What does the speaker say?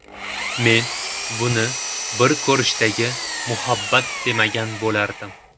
Men buni bir ko‘rishdagi muhabbat demagan bo‘lardim.